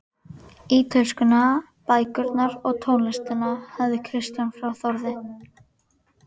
Ítölskuna, bækurnar og tónlistina hafði Kristján frá Þórði